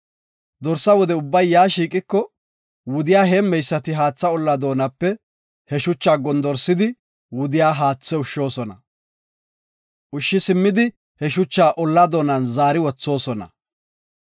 Dorsa wude ubbay yaa shiiqiko, wudiya heemmeysati haatha olla doonape he shucha gondorsidi wudiya haathe ushshoosona. Ushshi simmidi he shucha olla doonan zaari wothoosona.